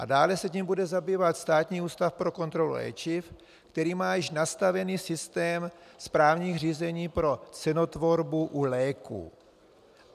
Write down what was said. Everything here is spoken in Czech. A dále se tím bude zabývat Státní ústav pro kontrolu léčiv, který má již nastavený systém správních řízení pro cenotvorbu u léků.